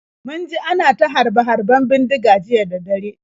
Mun ji ana ta harbe-harben bindiga jiya da dare.